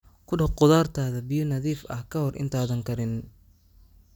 Ku dhaq khudaartaada biyo nadiif ah ka hor intaadan karinin.